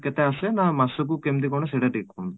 କେତେ ଆସେ ନା ମାସ କୁ କେମିତି କ'ଣ ସେଇଟା ଟିକେ କୁହନ୍ତୁ ?